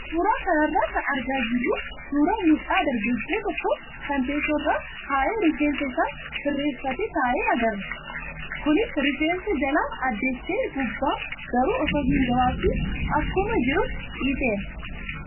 Suuraa kanarraa kan argaa jirru suuraa mucaa dargaggoo tokkoo kan teessoo irra taa'ee rifeensa isaa sirreeffatee ka'e agarra. Kunis rifeensa jala addeessee gubbaa garuu osoo hin gabaabsiin akkuma jirutti dhiiseera,